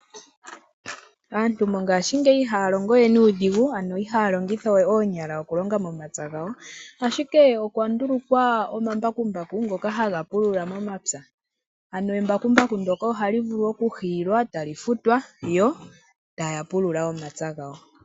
Aantu mongaashingeyi ihaya longo we nuudhigu. Ano ihaya longitha we oonyala okulonga momapya gawo. Ashike okwa ndulukwa omambakumbaku ngoka haga pulula momapya. Ano embakumbaku ndoka ohali vulu okuhiilwa etali futwa yo taya pulula omapya gawo.